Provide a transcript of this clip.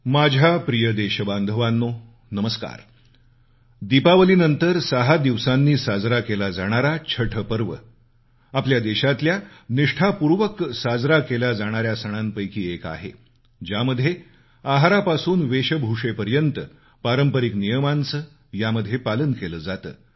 माझ्या प्रिय देशबांधवांनो नमस्कार दीपावलीनंतर सहा दिवसांनी साजरा केला जाणारा छठपर्व आपल्या देशातल्या निष्ठापूर्वक साजरा केल्या जाणाऱ्या सणांपैकी एक आहे ज्यामध्ये आहारापासून वेशभूषेपर्यंत पारंपारिक नियमांचं यामध्ये पालन केलं जातं